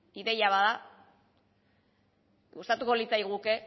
ideia bat da gustatuko litzaiguke